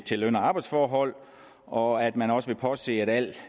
til løn og arbejdsforhold og at man også vil påse at al